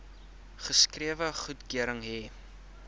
geskrewe goedkeuring hê